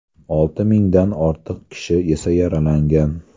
Olti mingdan ortiq kishi esa yaralangan.